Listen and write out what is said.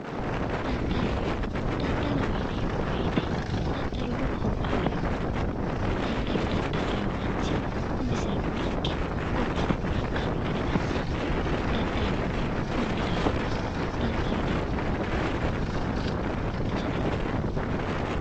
Daddalloho yineemmo woyite daddallu lowo horo afi'no daddallo daddallinno manchi umissirano ikke woleho ikkanno gede asannohura konnira daddallo daddalla lowontanni danchate